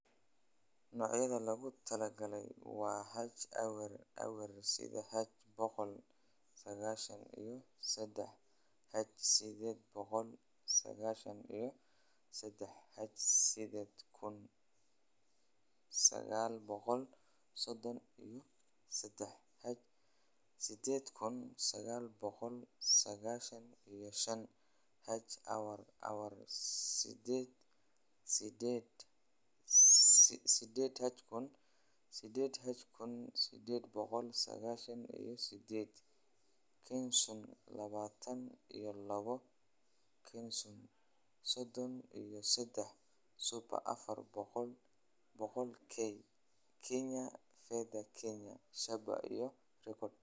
"Noocyada lagu taliyay waa H-awer awer sided, H-boqol sagashan iyo sadah, H sided boqol sagashan iyo sadah, H-sided kun sagal boqol sodon iyo sadah, H-sided kun sagal boqol sagashan iyo shan, H-aawar awar sided, H-sided boqol sagashan iyo sided, KENSUN labatan iyo labo, KENSUN sodon iyo sadah, SUPER afar boqol k, KENYA FEDHA, KENYA SHABA, iyo REKORD."